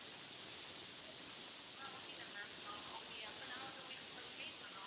ஆஹ் okay தான் ma'am ah okay அப்ப நான் வந்து உங்களுக்கு first place சொல்றோம்.